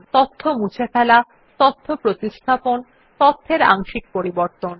তথ্য মুছে ফেলা তথ্য প্রতিস্থাপন তথ্যের অংশিক পরিবর্তন